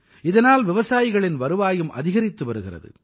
இதனால் விவசாயிகளின் வருவாயும் அதிகரித்து வருகிறது